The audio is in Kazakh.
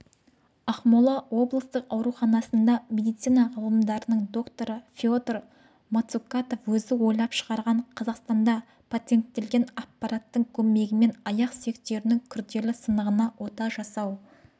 ақмола облыстық ауруханасында медицина ғылымдарының докторы феодор мацукатов өзі ойлап шығарған қазақстанда патенттелген аппараттың көмегімен аяқ сүйектерінің күрделі сынығына ота жасау